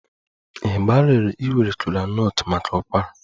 Ị gbalịrị iwere kola nut maka ụkwara?